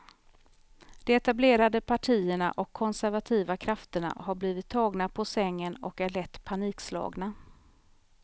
De etablerade partierna och konservativa krafterna har blivit tagna på sängen och är lätt panikslagna.